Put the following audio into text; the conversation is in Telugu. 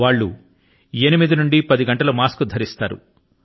వాళ్ళు ఎనిమిది నుండి పది గంటల పాటు మాస్క్ ను ధరిస్తున్నారు